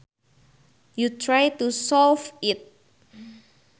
you try to solve it